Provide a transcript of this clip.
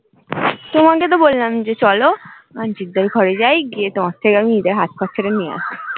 তোমাকে তো বললাম যে চলো তোমার থেকে অমি ঈদের হাত খরচা টা নিয়ে আসি